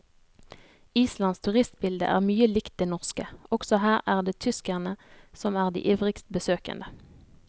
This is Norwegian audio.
Islands turistbilde er mye likt det norske, også her er det tyskerne som er de ivrigst besøkende.